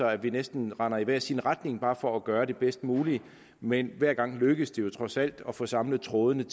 at vi næsten render i hver sin retning bare for at gøre det bedst mulige men hver gang lykkes det jo trods alt at få samlet trådene